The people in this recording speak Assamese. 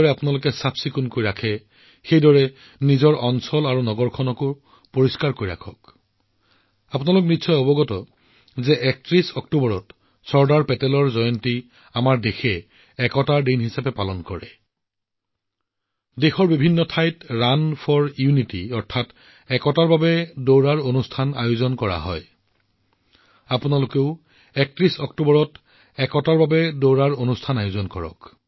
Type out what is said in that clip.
আপোনালোকে যেনেকৈ ঘৰবোৰ পৰিষ্কাৰ কৰি ৰাখে আপোনালোকৰ স্থানীয় আৰু চহৰখন পৰিষ্কাৰ কৰি ৰাখক আৰু আপোনালোকে জানে ৩১ অক্টোবৰত চৰ্দাৰ চাহাবৰ জন্ম বাৰ্ষিকীত দেশে ইয়াক একতা দিৱস হিচাপে পালন কৰে দেশৰ বহু ঠাইত একতাৰ বাবে দৌৰৰ আয়োজন কৰা হয় আপোনালোকেও ৩১ অক্টোবৰত একতাৰ বাবে দৌৰ কাৰ্যসূচী আয়োজন কৰিব